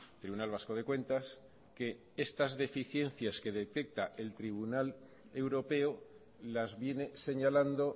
tribunal vasco de cuentas que estas deficiencias que detecta el tribunal europeo las viene señalando